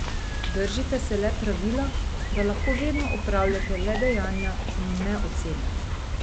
Držite se le pravila, da lahko vedno opravljate le dejanja in ne osebe.